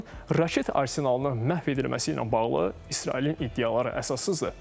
İranın raket arsenalının məhv edilməsi ilə bağlı İsrailin iddiaları əsassızdır.